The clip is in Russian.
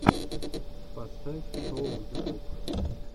поставь шоу ютуб